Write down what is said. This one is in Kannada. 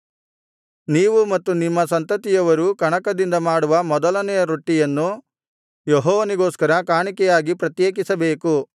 ನೀವೂ ಮತ್ತು ನಿಮ್ಮ ಸಂತತಿಯವರೂ ಕಣಕದಿಂದ ಮಾಡುವ ಮೊದಲನೆಯ ರೊಟ್ಟಿಯನ್ನು ಯೆಹೋವನಿಗೋಸ್ಕರ ಕಾಣಿಕೆಯಾಗಿ ಪ್ರತ್ಯೇಕಿಸಬೇಕು